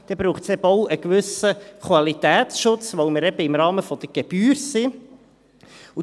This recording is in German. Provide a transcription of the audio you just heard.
Dann braucht es eben auch einen gewissen Qualitätsschutz, weil wir eben im Rahmen der Gebühr sind.